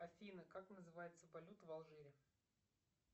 афина как называется валюта в алжире